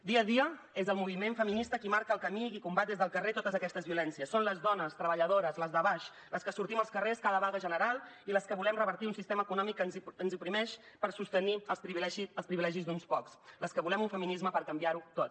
dia a dia és el moviment feminista qui marca el camí i qui combat des del carrer totes aquestes violències són les dones treballadores les de baix les que sortim als carrers cada vaga general i les que volem revertir un sistema econòmic que ens oprimeix per sostenir els privilegis d’uns pocs les que volem un feminisme per canviar ho tot